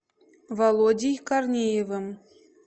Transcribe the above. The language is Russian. володей корнеевым